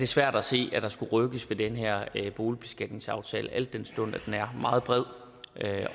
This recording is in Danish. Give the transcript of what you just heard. svært at se at der skulle rykkes ved den her boligbeskatningsaftale al den stund at den er meget bred